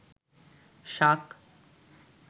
শাক